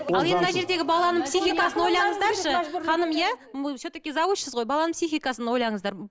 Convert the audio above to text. ал енді мына жердегі баланың психикасын ойлаңыздаршы ханым иә все таки завучсіз ғой баланың психикасын ойлаңыздар